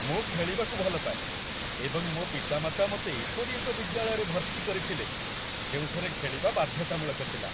ମୁଁ ଖେଳିବାକୁ ଭଲ ପାଏ ଏବଂ ମୋ ପିତାମାତା ମୋତେ ଏପରି ଏକ ବିଦ୍ୟାଳୟରେ ଭର୍ତ୍ତି କରିଥିଲେ ଯେଉଁଠାରେ ଖେଳିବା ବାଧ୍ୟତାମୂଳକ ଥିଲା।